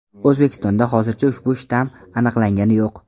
O‘zbekistonda hozircha ushbu shtamm aniqlangani yo‘q .